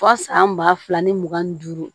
Fo san ba fila ni mugan ni duuru